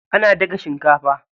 Ana daga shinkafa.